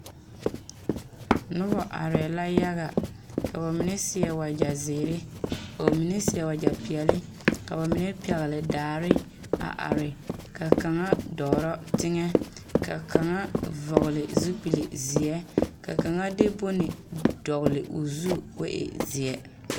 Noba arɛɛ la yaga ka ba mine seɛ wagyɛzeere ka ba mine seɛ wagyɛpeɛle ka ba mine pɛgle daare a are ka kaŋa dɔɔrɔ teŋɛ ka kaŋa vɔgle zupilizeɛ ka kaŋa de bone dɔgle o zu k,o e zeɛ.